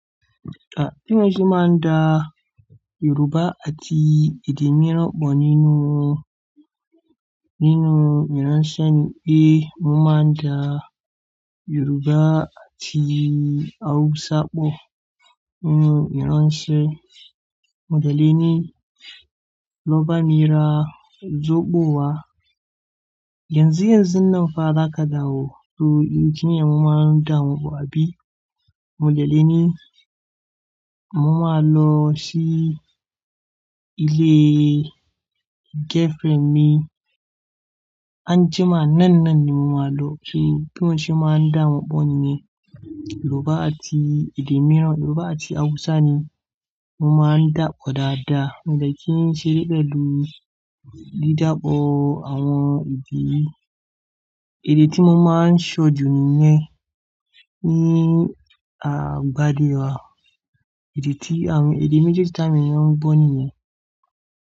À, tí mo ṣe máa ń dá Yoruba àti èdè mìíràn pọ̀ nínú, nínú ìránṣẹ́ ni pé mo máa ń dá Yoruba àti Hausa pọ̀ nínú ìránṣẹ́. Móde lẹ̀ ni lọ́ba mí ra ojogbo wá. Gẹ́ńsì rẹ sí náà fa lágàda ò, so ìdí tí èmi máa ń dá wọn pọ̀ àbí. Mó de le ni mo máa lọ sí ilé girlfriend mi. Anjima náà náà ni mo máa lọ kí tí mo ṣe máa ń dá wọn pọ̀ nìyẹn. Yoruba àti èdè mìíràn, Yoruba àti Hausa ni mo máa ń dá pọ̀ dáadáa. Mo de kì í ṣe pẹ̀lú dídáàpò àwọn èdè. Idi tí mo máa ń ṣojú nìyẹn ni àgbàdo wa. Èdè tí àwọn èdè mejeeji táa wọń èèyàn ngbọ nìyẹn.